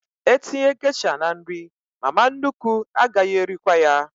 E tinye gesha n'nri, mama nnukwu agaghị erikwa ya